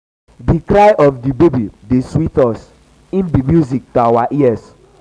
di cry of di baby dey sweet us im be music to our ears.